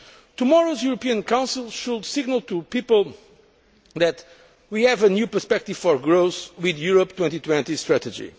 Tomorrow's European Council should signal to people that we have a new perspective for growth with the Europe 2020 strategy.